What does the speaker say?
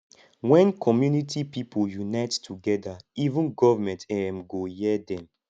when community pipo unite together even government um go hear dem